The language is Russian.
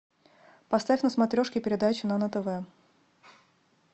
поставь на смотрешке передачу нано тв